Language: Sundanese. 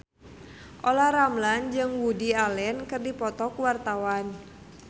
Olla Ramlan jeung Woody Allen keur dipoto ku wartawan